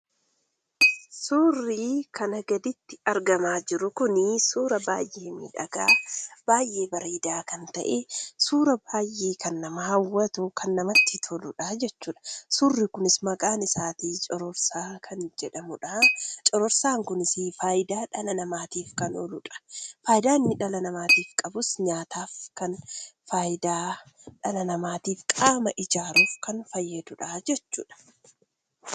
Suurri kana gaditti argamaa jiru kuni suura baay'ee miidhagaa baay'ee bareedaa kan ta’e, suura baay'ee kan nama hawwatu ,kan namatti toludha jechuudha. Suurri kunis maqaan isaatii 'Cororsaa' kan jedhamudha. Cororsaan kunis faayudaa dhala namaatiif kan ooludha. Faayidaa inni dhala namaatiif qabus nyaataaf kan faayidaa dhala namaatiif qaama ijaaruuf fayyadudha jechuudha.